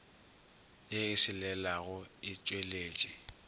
ye e selelago e tšweletše